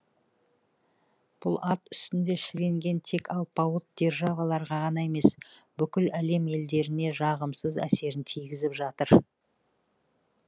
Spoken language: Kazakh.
бұл ат үстінде шіренген тек алпауыт державаларға ғана емес бүкіл әлем елдеріне жағымсыз әсерін тигізіп жатыр